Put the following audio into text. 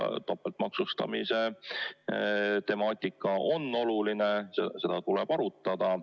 Topeltmaksustamise temaatika on oluline, seda tuleb arutada.